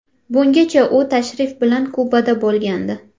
Bungacha u tashrif bilan Kubada bo‘lgandi.